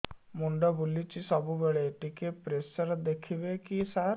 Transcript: ମୁଣ୍ଡ ବୁଲୁଚି ସବୁବେଳେ ଟିକେ ପ୍ରେସର ଦେଖିବେ କି ସାର